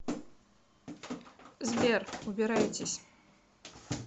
сбер убирайтесь